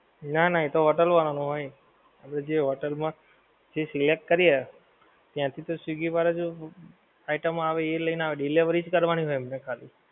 નાં નાં એતો હોટેલ વાળાં નો હોય હવે જે હોટલ માં જે select કરીએ, ત્યાંથી તો સ્વીગી વાળાં જ item આવે એ લઈને આવે delivery જ કરવાની હોય એમને ખાલી.